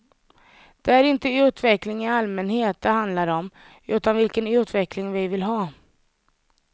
Det är inte utveckling i allmänhet det handlar om, utan vilken utveckling vi vill ha.